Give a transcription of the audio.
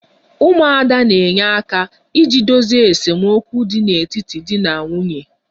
'umuada' na-enye aka iji dozie esemokwu dị n'etiti di na nwunye